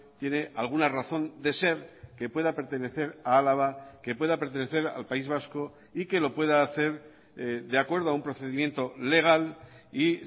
tiene alguna razón de ser que pueda pertenecer a álava que pueda pertenecer al país vasco y que lo pueda hacer de acuerdo a un procedimiento legal y